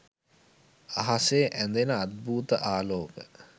අහසේ ඇදෙන අද්භූත ආලෝක